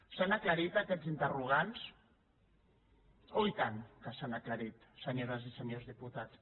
s’han aclarit aquests interrogants oh i tant que s’han aclarit senyores i senyors diputats